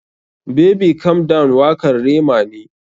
Baby calm down wakar Rema ne.